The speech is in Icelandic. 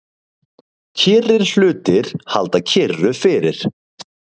Kyrrir hlutir halda kyrru fyrir.